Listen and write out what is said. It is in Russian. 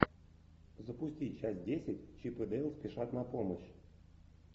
запусти часть десять чип и дейл спешат на помощь